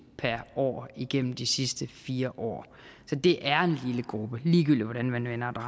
per år igennem de sidste fire år så det er en lille gruppe ligegyldigt hvordan man vender og